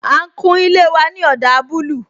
A ń kun ilé wa ní ọdà búlúù